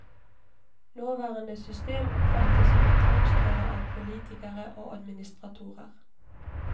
Nåværende system oppfattes som en tvangstrøye av politikere og administratorer.